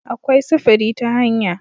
Akwai sufuri ta hanya